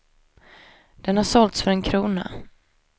Den har sålts för en krona.